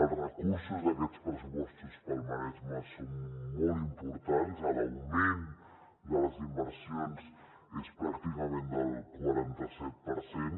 els recursos d’aquests pressupostos per al maresme són molt importants l’augment de les inversions és pràcticament del quaranta set per cent